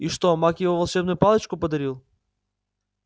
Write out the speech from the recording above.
и что маг ему волшебную палочку подарил